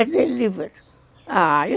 É delivery.